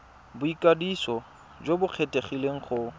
boikwadiso jo bo kgethegileng go